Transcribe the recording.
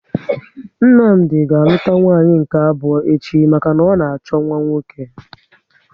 Nnamdi ga aluta nwanyị nke abụọ echi maka na ọ na achọ nwa nwoke